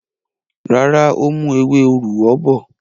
Rárá, ó mú ewé òrúwọ bọ̀.